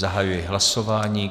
Zahajuji hlasování.